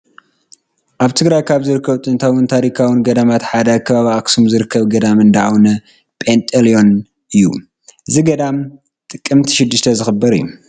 ኣብ ትግራይ ካብ ዝርከቡ ጥንታውን ታሪካውን ገዳማት ሓደ ኣብ ከባቢ ኣክሱም ዝርከብ ገዳም እንዳ ኣውነ ጴንጢየሎን እዩ፡፡ እዚ ገዳም ጥቅምቲ 6 ዝኽበር እዩ፡፡